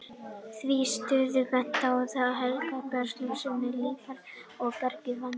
Því til stuðnings benti hann á heilleika bergsins og segulmögnun líparíts og bergganga í Vatnsdalshólum.